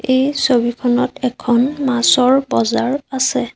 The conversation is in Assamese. এই ছবিখনত এখন মাছৰ বজাৰ আছে।